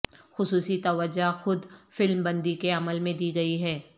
خصوصی توجہ خود فلم بندی کے عمل میں دی گئی ہے